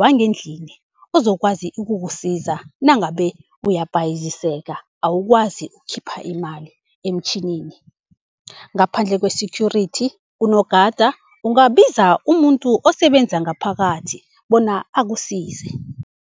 wangendlini ozokwazi ukukusiza nangabe uyabhayiziseka, awukwazi ukukhipha imali emtjhinini. Ngaphandle kwe-security unogada ungabiza umuntu osebenza ngaphakathi bona akusize.